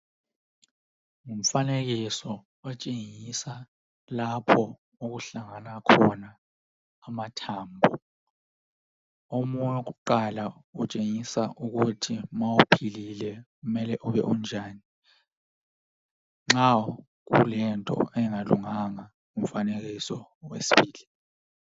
Umfanekiso utshengisa lapho okuhlangana khona amathambo. Omunye wakuqala utshengisa ukuthi ma ephilile kumele ube unjani. Nxa ulento engalunganga , ngumfanekiso wesibili.